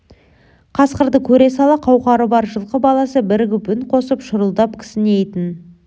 қасқырды көре сала қауқары бар жылқы баласы бірігіп үн қосып шұрылдап кісінейтін